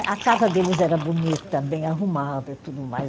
A casa deles era bonita, bem arrumada e tudo mais.